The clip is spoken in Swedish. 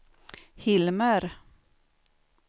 Hilmer